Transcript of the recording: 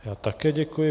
Já také děkuji.